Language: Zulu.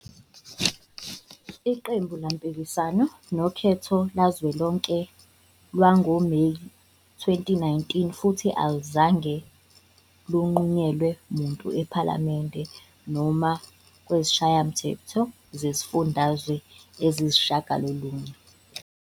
Iqembu laphikisana nokhetho lukazwelonke lwangoMeyi 2019 futhi aluzange lunqunyelwe muntu ePhalamende noma kuzishayamthetho zezifundazwe eziyisishiyagalolunye.